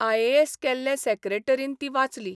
IAS केल्ल्या सेक्रेटरीन ती वाचली.